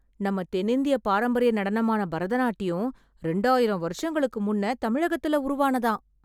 நம்ம தென்னிந்திய பாரம்பரிய நடனமான பரதநாட்டியம் ரெண்டாயிரம் வருஷங்களுக்கு முன்னே தமிழகத்துல உருவானதாம்...!